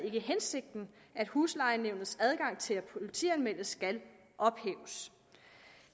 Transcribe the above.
ikke hensigten at huslejenævnets adgang til at politianmelde skal ophæves